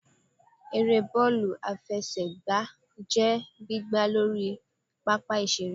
Ère bọọlu afẹsẹgba jẹ gbìgbá Lorí pápá ìsere.